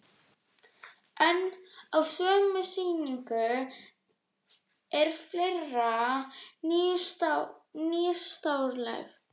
En á sömu sýningu er fleira nýstárlegt.